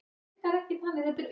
En ekki þetta.